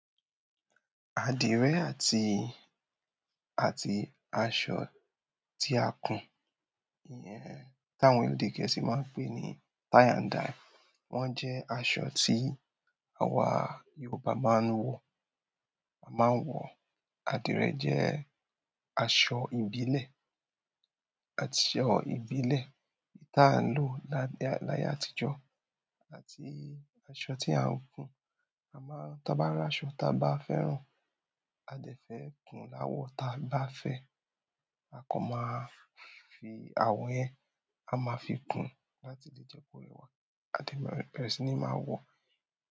Àdìrẹ àti, àti aṣọ tí a kùn, yyẹn tí àwọn èdè gẹ̀ẹ́sì máa n pè ní tie-and-dye, wón jẹ́ aṣọ tí àwa Yorùbá máa ń wọ, máa ń wọ. Àdìrẹ jẹ́ aṣọ ìbílẹ̀, aṣọ ìbílẹ̀ tí a ń lò ládá, láyé àtijọ́ àti aṣọ tí à ń kùn. A maa n ta ba r'aṣọ taa ba fẹ́ràn, a dẹ fẹ kun l'awọ taa ba fẹ, a kan maa fi awọ yẹn a ma fi kun lat jẹ ko rẹwà. A dẹ maa bẹrẹ si ni màá wọ.